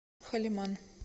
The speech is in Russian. халиман